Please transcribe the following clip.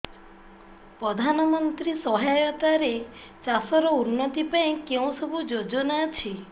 ପ୍ରଧାନମନ୍ତ୍ରୀ ସହାୟତା ରେ ଚାଷ ର ଉନ୍ନତି ପାଇଁ କେଉଁ ସବୁ ଯୋଜନା ଅଛି